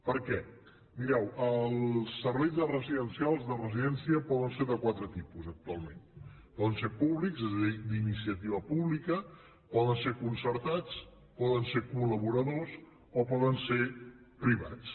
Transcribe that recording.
per què mireu els serveis residencials de residència poden ser de quatre tipus actualment poden ser públics és a dir d’iniciativa pública poden ser concertats poden ser collaboradors o poden ser privats